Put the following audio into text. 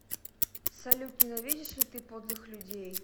салют ненавидишь ли ты подлых людей